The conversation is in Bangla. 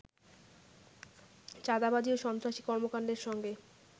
চাঁদাবাজি ও সন্ত্রাসী কর্মকাণ্ডের সঙ্গে